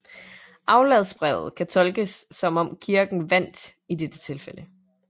Afladsbrevet kan tolkes som om Kirken vandt i dette tilfælde